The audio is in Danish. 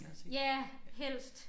Ja helst